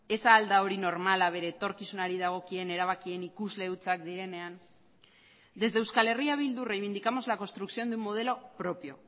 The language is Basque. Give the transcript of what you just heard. ez al da hori normala bere etorkizunari dagokien erabakien ikusle hutsak direnean desde euskal herria bildu reivindicamos la construcción de un modelo propio